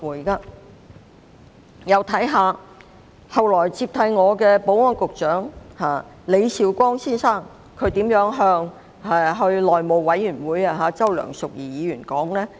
再看看後來接替我的保安局局長李少光先生在內務委員會對周梁淑怡議員的說法。